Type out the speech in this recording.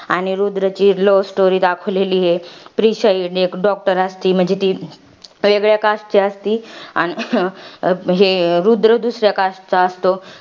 आणि रुद्र ची love story दाखवलेली आहे. प्रीशा एक doctor असती. म्हणजे ती वेगळ्या cast ची असती, अन हे रुद्र दुसऱ्या cast चा असतो.